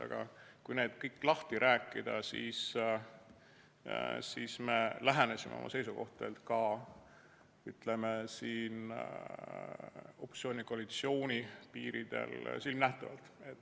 Aga kui saime selle kõik lahti rääkida, siis me lähenesime oma seisukohtadega, ütleme, opositsiooni-koalitsiooni piiril silmnähtavalt.